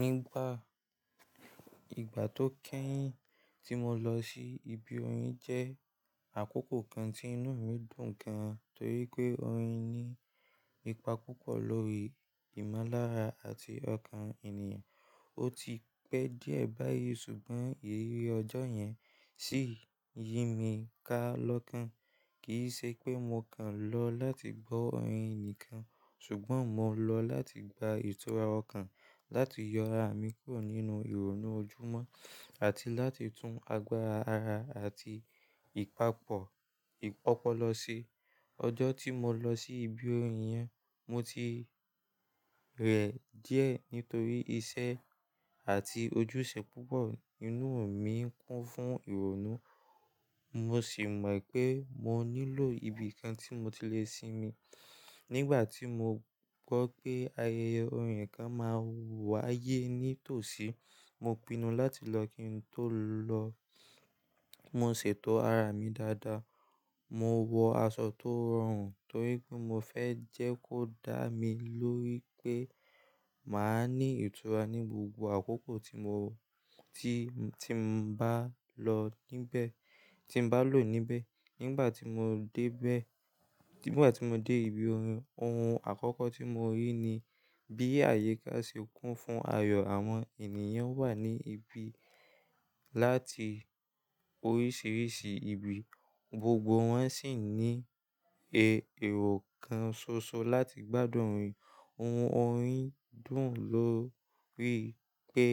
Nígbà ìgbà tó kéyín tí mo lọ sí ibi orin jẹ́ àkókò kan tí inú mi dùn gan, torí pé orin ní ipa púpọ̀ lórí ìmọ́lára àti ọkàn ènìyàn. Ó ti pẹ́ díẹ̀ báyìí ṣùgbọ́n ìrírí ọjọ́ yẹn ṣì yí mi ká lọ́kàn. Kì í ṣe pé mo kàn lọ láti gbọ́ orin nìkan ṣùgbọ́n mo lọ láti gba ìtura ọkàn, láti yọ ara mi kúrò nínú ìrònú ojúmọ́ àti láti tún agbára ara àti ìpapọ̀ ìpọlọ sí. Ọjọ́ tí mo lọ sí ibi orin yẹn, mo ti rẹ̀ díẹ̀ nítorí iṣẹ́ àti ojúṣe púpọ̀. Inú mi ń kún fún ìrònú, mo sì mọ̀ pé mo nílò ibi kan tí mo ti lè sìnmí. Nígbà tí mo gbọ́ pé ayẹyẹ orin kan máa wáyé ní tòsí, mo pinnu láti lọ kí n tó lọ. Mo ṣètò ara mi dáadáa, mo wọ aṣọ tó rọrùn torí pé mo fẹ́ jẹ́ kó dá mi lórí pé màá ní ìtura ní gbogbo àkókò tí mo ti, tí n bá lọ níbẹ̀, tí n bá lọ níbẹ̀. Nígbà tí mo dé bẹ̀, nígbà tí mo dé ibi orin, ohun àkọ́kọ́ tí mo rí ni bí àyíká ṣe kún fún ayọ̀. Àwọn ènìyàn wà ní ibi láti oríṣiríṣi ibi, gbogbo wọn sì ní e, èrò kan ṣoṣo láti gbádùn orin. Ohun orin dùn lo rí pé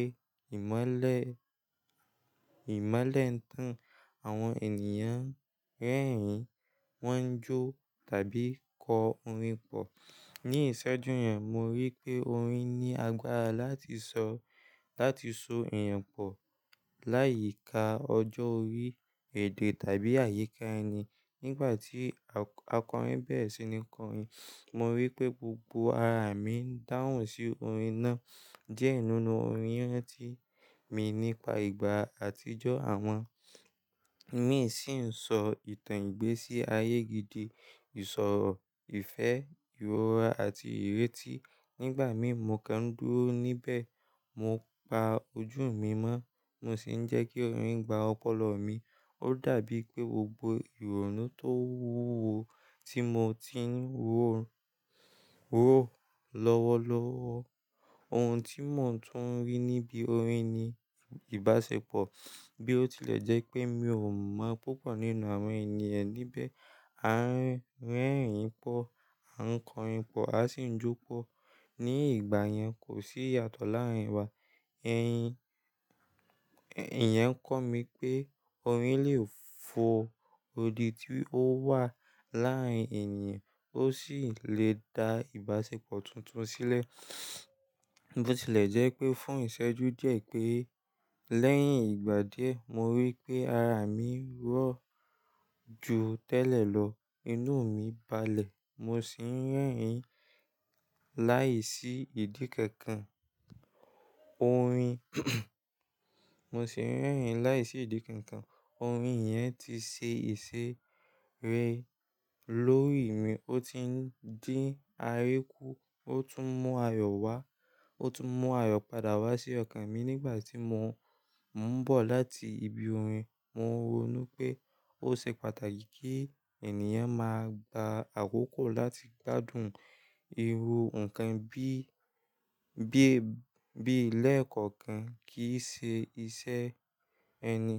ìmọ́lẹ̀, ìmọ́lẹ̀ ń tàn àwọn ènìyàn rẹ́rìn, wọ́n jó tàbí kọ orin pọ̀. Ni ìṣẹ́jú yẹn mo rí pé orin ní agbára láti sọ, láti so èèyàn pọ̀ láyìíká ọjọ́ orí èdè tàbí àyíká ẹni. Nígbà tí akọrin bẹ̀rẹ̀ sí ní kọrin, mo rí pé gbogbo ara mi ń dáhùn sí orin náà. Diẹ nínú orin yẹn ránti mi nípa ìgbà àtijọ́ àwọn mi sì ń sọ ìtàn ìgbésí ayé gidi, ìṣòro, ìfẹ́, ìrora àti ìrètí. Nígbà míì mo kán dúró níbẹ̀, mo pa ojú mi mọ́ mo sì ń jẹ́ kí orin gba ọpọlọ mi. Ó dàbí pé gbogbo ìrònú tó wúwo tí mo ti ń ró lówọ lọ́wọ́. Ohun tí mò ń tún rí níbi orin ni ìbáṣepọ̀ bí ó tilẹ̀ jẹ́ pé mi ò mọ̀ púpọ̀ nínú àwọn ènìyàn níbẹ̀. A ń rẹ́rìn pọ̀, a ń kọrin pọ̀, a sì ń jó pọ̀. Ni ìgbà yẹn, kò sí ìyàtọ̀ láàrin wa. Ẹ̀yin, ìyén ń kọ́ mi pé orin lè fo odi tí ó wà láàrin ènìyàn ó sì lè dá ìbáṣepọ̀ tuntun sílẹ̀. Bí ó tilẹ̀ jẹ́ pé fún ìṣẹ́jú díẹ̀ pé lẹ́yìn ìgbà díẹ̀ mo rí pé ara mi rọ̀ ju tẹ́lẹ̀ lọ, inú mi balẹ̀ mo sì ń rẹ́rìn-ín láìsí ìdí kankan. Orin, mo sì ń rẹ́rìn-ín láìsí ìdí kankan. Orin yẹn ti ṣe ìṣe rẹ̀ lórí mi. Ó ti ń dín ariku, ó tún mú ayọ̀ wá, ó tún mú ayọ̀ padà wá sí ọkàn mi nígbà tí mo ń bọ̀ láti ibi orin. Mo ronú pé ó ṣe pàtàkì kí ènìyàn máa gba àkókò láti gbádùn irú nǹkan bí, bí ẹ́, bí lẹ̀ kọ̀ọ̀kan kì í ṣe iṣẹ́ ẹni.